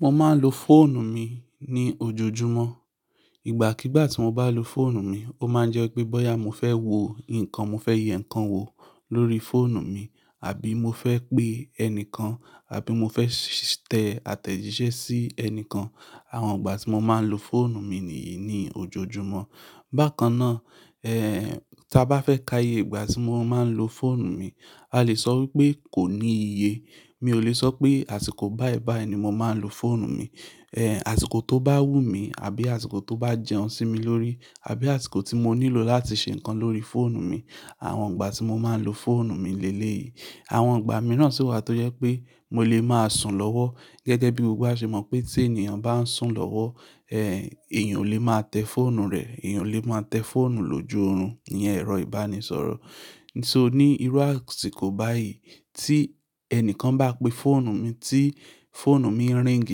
Mo máa ń lo fóònù mi ní ojoojúmọ́. Ìgbà kigbà tí mo bá lo fóònù mi, ó máa ń jẹ́ pé bóyá mo fẹ́ wo ǹkan, mo fẹ́ ye ǹkan wò lórí fóònù mi, àbí mo fẹ́ pé ẹnìkan, àbí mo fẹ́ tẹ àtẹ̀jíṣẹ́ sí ẹnìkan. Àwọn ìgbà tí mo máa ń lo fóònù mi nìyí ní ojoojúmọ́. Bákan náà, tí a bá fẹ́ ká iye ìgbà tí mo máa ń lo fóònù mi, a lè sọ wípé kò ní iye. Mi ò lè sọ pé àsìkò báyi báyi ni mo máa ń lo fóònù mi. Eh, àsìkò tó bá wù mí àbí àsìkò tó bá jẹun sí mi lórí, àbí àsìkò tí mo nílò láti ṣe ǹkan lórí fóònù mi. Àwọn ìgbà tí mo máa ń lo fóònù mi lé léyìí. Àwọn ìgbà mìíràn sì wà tó jẹ́ pé mo lè máa sùn lọ́wọ́. Gẹ́gẹ́ bí gbogbo wa ṣe mọ̀ pé tí ènìyàn bá ń sùn lọ́wọ́, èèyàn ò lè máa tẹ fóònù rẹ̀, èèyàn ò lè máa tẹ fóònù lòjọ́ orun. Ìyẹn ẹ̀rọ ìbánisọ̀rọ̀. So ní irú àsìkò báyìí tí ẹnìkan bá pe fóònù mi tí fóònù mi ring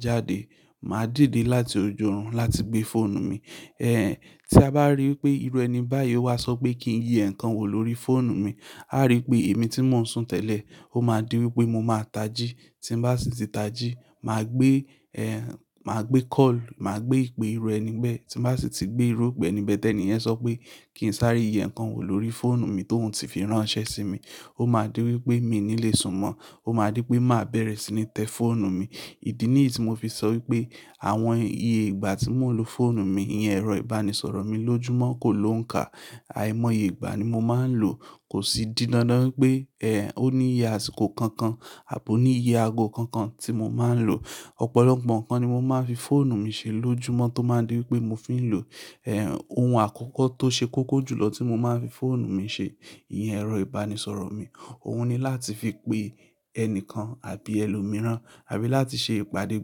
jáde, màá dìde láti ojú orun láti gbé fóònù mi. Tí a bá ríi pé irú ẹni báyìí ó wá sọ pé kí n ye ǹkan wò lórí fóònù mi, a ríi pé èmi tí mò ń sùn tẹ́lẹ̀, ó máa di wípé mo máa tají. Tí mo bá sì ti tají, màá gbé, màá gbé call, màá gbé ìpé irú ẹni bẹ́ẹ̀. Tí mo bá sì ti gbé irú ọ̀gbẹ́ni bẹ́ẹ̀ tẹ ni ẹ sọ pé kí n sáré yí ǹkan wò lórí fóònù mi tó ún ti fi ránṣẹ́ sí mi. Ó máa di wípé mi ò ní lè sùn mọ́, ó máa di wípé màá bẹ̀rẹ̀ sí ní tẹ fóònù mi. Ìdí nìyí tí mo fi sọ wípé àwọn iye ìgbà tí mò ń lo fóònù mi, ìyẹn ẹ̀rọ ìbánisọ̀rọ̀ mi lójúmọ́ kò lóǹká. Àìmọye ìgbà ni mo máa ń lò. Kò sì didan dam wipé, ó ní iye àsìkò kankan àbí ó ní iye aago kankan tí mo máa ń lò. Ọ̀pọ̀lọpọ̀ ǹkan ni mo máa ń fi fóònù mi ṣe lójúmọ́ tó máa di wípé mo fi ń lò. Ohun àkọ́kọ́ tó ṣe kókó jù lọ tí mo máa ń fi fóònù mi ṣe, ìyẹn ẹ̀rọ ìbánisọ̀rọ̀ mi, òun ni láti fi pe ẹnìkan àbí ẹlòmíràn, àbí láti ṣe ìpàdé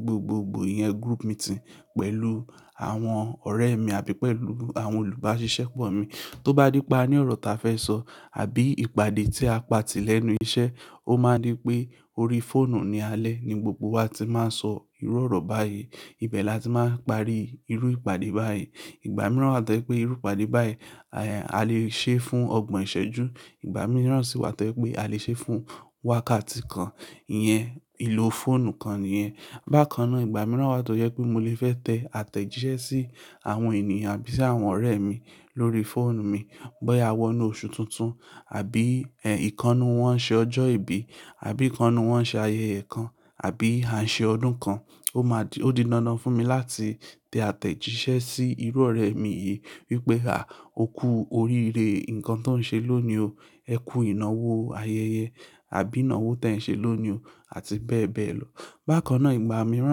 gbogbogbò, ìyẹn group meeting pẹ̀lú àwọn ọ̀rẹ́ mi àbí pẹ̀lú àwọn olùbáṣiṣẹ́ pọ̀ mi. Tó bá di pa ní ọ̀rọ̀ tí a fẹ́ sọ àbí ìpàdé tí a pati lẹ́nu iṣẹ́, ó máa di pé orí fóònù ni alẹ́ ni gbogbo wa ti máa ń sọ irú ọ̀rọ̀ báyìí. Ibẹ̀ la tí máa ń parí irú ìpàdé báyìí. Ìgbà mìíràn wà tó jẹ́ pé irú ìpàdé báyìí, eh, a lè ṣe fún ọgbọ̀n ìṣẹ́jú. Ìgbà mìíràn sì wà tó jẹ́ pé a lè ṣe fún wákàtí kan. Ìyẹn ìlò fóònù kan nìyẹn. Bákan náà ìgbà mìíràn wà tó jẹ́ wípé mo lè fẹ́ tẹ àtẹ̀jíṣẹ́ sí àwọn ènìyàn àbí sí àwọn ọ̀rẹ́ mi lórí fóònù mi. Bóyá a wọ́ inú oṣù tuntun, àbí, ìkán nú wọ́n ṣe ọjọ́ ìbí, àbí ìkánú wọ́n ṣe ayẹyẹ kan, àbí à ń ṣe ọdún kan. Ó máa di-- ó dinánán fún mi láti tẹ àtẹ̀jíṣẹ́ sí irú ọ̀rẹ́ mi yìí wípé, "à, ókú oríire ǹkan tó ń ṣe lónìí o. Ẹ kú ìnáwó ayẹyẹ." Àbí "ìnáwó tí ẹ̀ ń ṣe lónìí o." Àti bẹ́ẹ̀ bẹ́ẹ̀ lọ. Bákan náà ìgbà mìíràn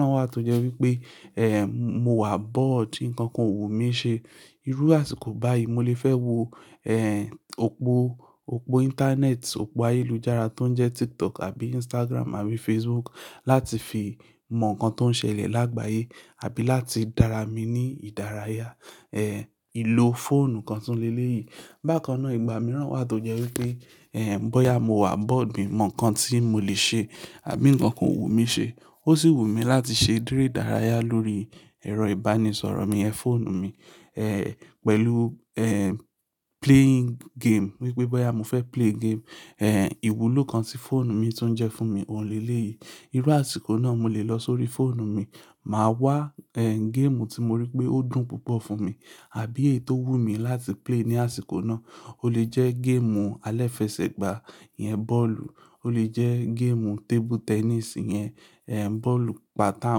wà tó jẹ́ wípé, eh, mo wà bored ǹkan kan o wù mí ṣe. Irú àsìkò báyìí mo lè fẹ́ wo, eh, òpó, òpó íńtánẹ́ẹ̀tì, òpó ayélujára tó ń jẹ́ TikTok àbí Instagram àbí Facebook láti fi mọ ǹkan tó ń ṣẹlẹ̀ lágbàyé àbí láti dára mi ní ìdárayá. Eh, ìlò fóònù kan tún lé léyìí. Bákan náà ìgbà mìíràn wà tó jẹ́ wípé, bóyá mo wà bored mi mọ ǹkan tí mo lè ṣe àbí ǹkan kan o wù mí ṣe. Ó sì wù mí láti ṣe ere ìdárayá lórí ẹ̀rọ ìbánisọ̀rọ̀ mi, ẹ́ fóònù mi, eh, pẹ̀lú, eh, playing game. Wípé bóyá mo fẹ́ play game, eh, ìwúlò kan tí fóònù mi tún jẹ́ fún mi ò lé léyìí. Irú àsìkò náà mo lè lọ sórí fóònù mi, màá wá, eh, géèmù tí mo rí pé ó dùn púpọ̀ fún mi àbí èyí tó wù mí láti play ní àsìkò náà. Ó lè jẹ́ géèmù alẹ́fẹsẹ̀gbà, ìyẹn bọ́ọ̀lù. Ó lè jẹ́ géèmù table tennis, ìyẹn, eh, bọ́ọ̀lù pátà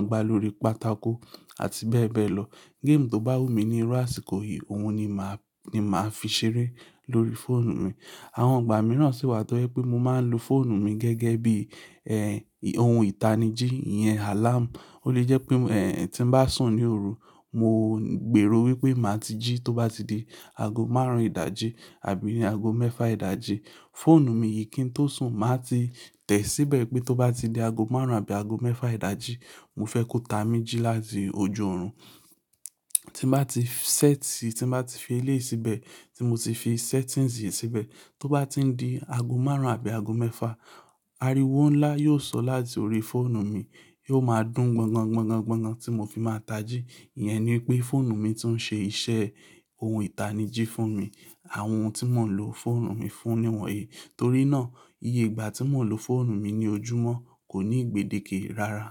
ń gbá lórí pátákó àti bẹ́ẹ̀ bẹ́ẹ̀ lọ. Géèmù tó bá wù mí ní irú àsìkò yìí, òun ni màá, ni màá fi ṣeré lórí fóònù mi. Àwọn ìgbà mìíràn sì wà tó jẹ́ pé mo máa ń lo fóònù mi gẹ́gẹ́ bí, ohun ìtanijí, ìyẹn àláàmù. Ó lè jẹ́ pé, tí mo bá sùn ní òru, mo gbèrò wípé màá ti jí tó bá di ago márùn-ún ìdájí àbí ni ago mẹ́fà ìdájí. Fóònù mi yìí kí n tó sùn, màá ti tẹ̀ síbẹ̀ pé tó bá di ago márùn-ún àbí ago mẹ́fà ìdájí, mo fẹ́ kó ta mí jí láti ojú orun. Tí mo bá ti sẹ́ẹ̀tì, tí mo bá ti fi ilé yìí síbẹ̀, tí mo ti fi settings yìí síbẹ̀, tó bá ti di ago márùn-ún àbí ago mẹ́fà, ariwo ńlá yóò sọ láti orí fóònù mi. Yóò máa dún gbogan gbogan gbogan tí mo fi máa tají. Ìyẹn ni pé fóònù mi tún ṣe iṣẹ́ ohun ìtanijí fún mi. Àwọn ohun tí mò ń lo fóònù mi fún ni wọ̀nyí. Torí náà iye ìgbà tí mò ń lo fóònù mi ní ojúmọ́ kò ní gbedeke rara.